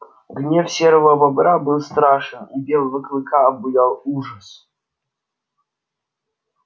гнев серого бобра был страшен и белого клыка обуял ужас